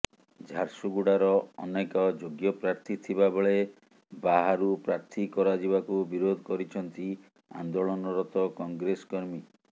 ଝାରସୁଗୁଡ଼ାର ଅନେକ ଯୋଗ୍ୟ ପ୍ରାର୍ଥୀ ଥିବା ବେଳେ ବାହାରୁ ପ୍ରାର୍ଥୀ କରାଯିବାକୁ ବିରୋଧ କରିଛନ୍ତି ଆନ୍ଦୋଳନରତ କଂଗ୍ରେସ କର୍ମୀ